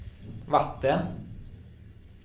vatten